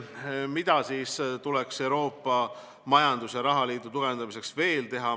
Mida tuleks Euroopa majandus- ja rahaliidu tugevdamiseks veel teha?